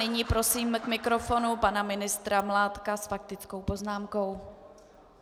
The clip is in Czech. Nyní prosím k mikrofonu pana ministra Mládka s faktickou poznámkou.